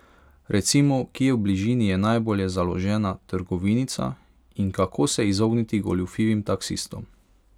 Recimo, kje v bližini je najbolje založena trgovinica in kako se izogniti goljufivim taksistom.